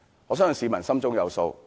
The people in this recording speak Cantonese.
我相信市民心中有數。